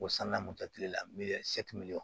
O sanna mɔtɛri la